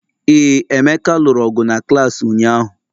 Ee, Emeka lụrụ ọgụ na klaasị ụnyahụ